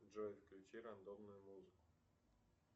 джой включи рандомную музыку